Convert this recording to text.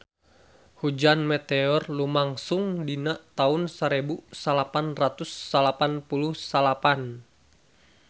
Hujan meteor lumangsung dina taun sarebu salapan ratus salapan puluh salapan